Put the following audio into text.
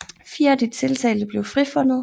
Fire af de tiltalte blev frifundet